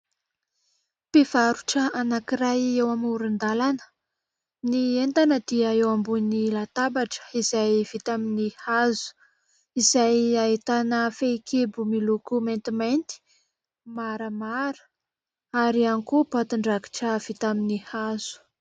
Mpivarotra anankiray eo amoron-dalana. Ny entana dia eo ambony latabatra izay vita amin'ny hazo. Izay ahitana fehikibo miloko maintimainty, maramara ary koa boatin-drakitra vita amin'ny hazo.